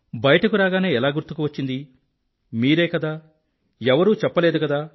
బయటకు రాగానే ఎలా గుర్తుకు వచ్చింది మీరే కదా ఎవరూ చెప్పలేదు కూడా